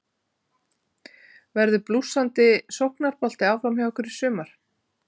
Verður blússandi sóknarbolti áfram hjá ykkur í sumar?